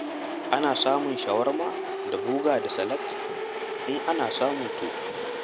Ana samun shawarma da boga da salak? In ana samu to!